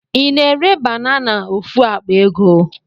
I na-ere banana ofu akpa ego?